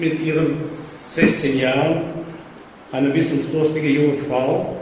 Sie sind mit ihren 16 Jahren eine wissensdurstige junge Frau